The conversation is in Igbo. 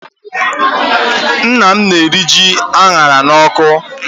Nna m na-eri ji a ṅara n'ọkụ.